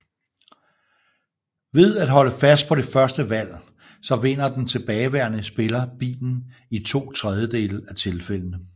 Ved at holde fast på det første valg så vinder den tilbageværende spiller bilen i to tredjedele af tilfældende